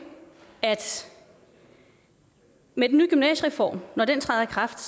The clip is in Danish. at med den nye gymnasiereform når den træder i kraft